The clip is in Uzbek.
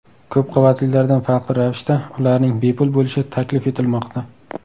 Ko‘p qavatlilardan farqli ravishda, ularning bepul bo‘lishi taklif etilmoqda.